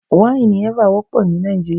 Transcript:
Wáìnì Eva wọ́pọ̀ ní Nàìjíríà.